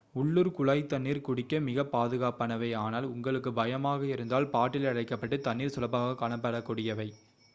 உள்ளூர் குழாய் தண்ணீர் குடிக்க மிக்க பாதுகாப்பானவை ஆனால் உங்களுக்கு பயமாக இருந்தால் பாட்டிலில் அடைக்கப்பட்ட தண்ணீர் சுலபமாக காணப்படக் கூடியவை